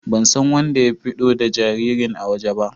Ban san wanɗa ya fito da jaririn a waje ba.